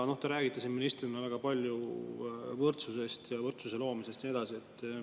Te räägite siin ministrina väga palju võrdsusest, võrdsuse loomisest ja nii edasi.